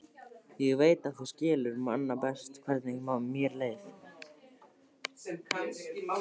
Ég veit að þú skilur manna best hvernig mér leið.